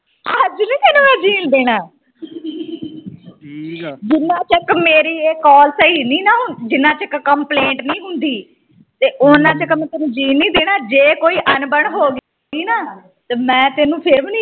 ਜੀਣ ਦੇਣਾ ਜਿਨ੍ਹਾਂ ਤਕ ਮੇਰੀ ਇਹ call ਸਹੀ ਨਹੀਂ ਨਾ ਜਿਨ੍ਹਾਂ ਤਕ complaint ਨਹੀਂ ਹੁੰਦੀ ਤੇ ਉਹਨਾਂ ਤਕ ਮੈ ਤੈਨੂੰ ਜੀਣ ਨਹੀਂ ਦੇਣਾ ਜੇ ਕੋਈ ਅਣਬਣ ਹੋਗੀ ਨਾ ਮੈ ਤੈਨੂੰ ਫਿਰ ਵੀ